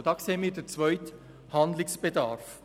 Hier sehen wir den zweiten Handlungsbedarf.